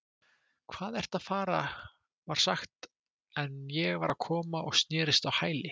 Hvað ertu að fara var sagt en ég var að koma og snerist á hæli